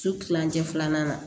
Su kilancɛ filanan